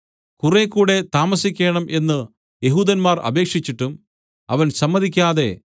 കുറെ കൂടെ താമസിക്കേണം എന്ന് യെഹൂദന്മാർ അപേക്ഷിച്ചിട്ടും അവൻ സമ്മതിക്കാതെ